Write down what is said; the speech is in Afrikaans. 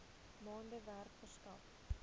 maande werk verskaf